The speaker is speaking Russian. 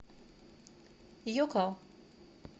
йоко